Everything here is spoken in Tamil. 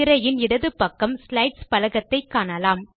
திரையில் இடது பக்கம் ஸ்லைட்ஸ் பலகத்தை காணலாம்